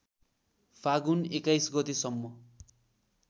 फाल्गुन २१ गतेसम्म